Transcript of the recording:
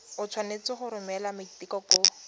o tshwanetse go romela maiteko